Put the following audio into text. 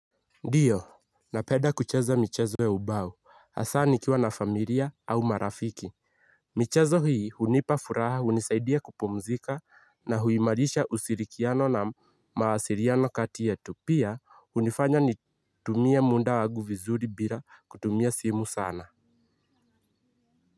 Ndiyo na penda kucheza michezo ya ubao asa nikiwa na familia au marafiki. Michezo hii unipafuraha unisaidia kupumzika na huimarisha ushirikiano na mawasiliano kati yetu pia unifanya ni tumie muda wangu vizuri bila kutumia simu sana.